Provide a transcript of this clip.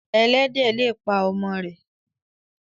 Ẹlẹ́dẹ̀ le pa ọmọ rẹ̀.